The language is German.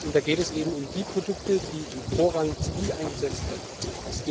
Da geht es um die Produkte, die im Vorrang zivil eingesetzt werden können.